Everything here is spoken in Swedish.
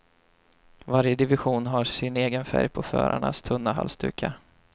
Varje division har sin egen färg på förarnas tunna halsdukar.